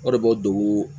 O de bɛ dugu